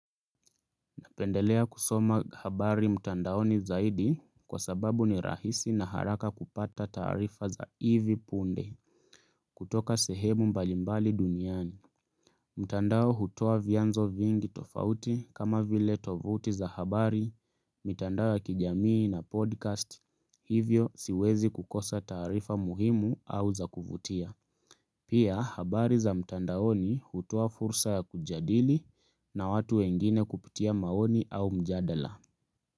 Napendelea kusoma habari mtandaoni zaidi kwa sababu ni rahisi na haraka kupata taarifa za hivi punde kutoka sehemu mbalimbali duniani. Mtandao hutoa vianzo vingi tofauti kama vile tovuti za habari, mtandao ya kijamii ina podcast hivyo siwezi kukosa taarifa muhimu au za kuvutia. Pia, habari za mtandaoni hutoa fursa ya kujadili na watu wengine kupitia maoni au mjadala.